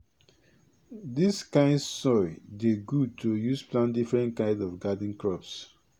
dis kind soil dey good to use plant different kind of garden crops